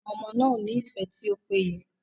Àwọn ọmọ náà o ni ifẹ ti o péye.